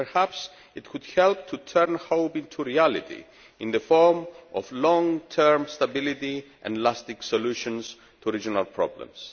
Perhaps it would help to turn hope into reality in the form of long term stability and lasting solutions to regional problems.